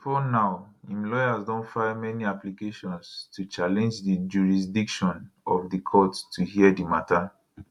bifor now im lawyers don file many applications to challenge di jurisdiction of di court to hear di mata